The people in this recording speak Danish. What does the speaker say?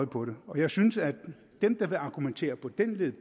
på det og jeg synes at dem der vil argumentere på den led